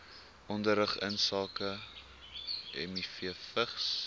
onderrig insake mivvigs